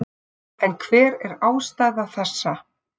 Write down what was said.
En hver er ástæða þessa?